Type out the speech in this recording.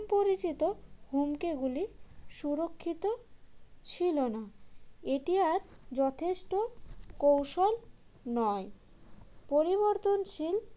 পরিচিত হুমকিগুলি সুরক্ষিত ছিল না এটি আর যথেষ্ট কৌশল নয় পরিবর্তনশীল